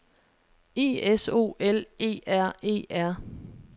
I S O L E R E R